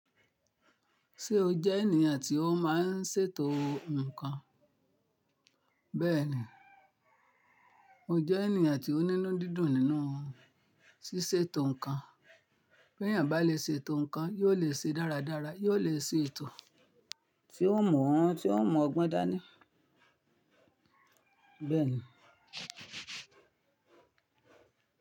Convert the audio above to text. Ṣé o jẹ́ ènìyàn tí ó máa ń ṣètò nǹkan? Bẹ́ẹ̀ni, mo jẹ́ ènìyàn tí ó ní inu didún nínú ṣíṣètò ǹkan. Bí ènìyàn bá le ṣe ètò ǹkan, yóò lè ṣe dáradára, yóò lè ṣe ètò tí ó mu, tí ó m'ọgbọ́n dá ní. Bẹ́ẹ̀ni.